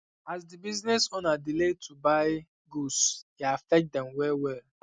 as the business owner delay um to um buy um goods e affect them well well